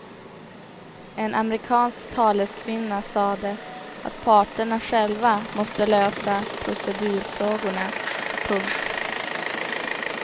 En amerikansk taleskvinna sade att parterna själva måste lösa procedurfrågorna. punkt